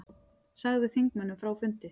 Sagði þingmönnum frá fundi